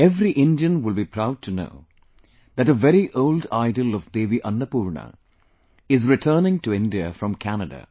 Every Indian will be proud to know that a very old idol of Devi Annapurna is returning to India from Canada